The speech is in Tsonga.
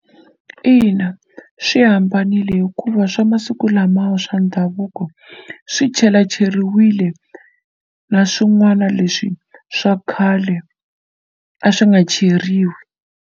Ina swi hambanile hikuva swa masiku lamawa swa ndhavuko swi chelacheriwile na swin'wana leswi swa khale a swi nga cheriwi.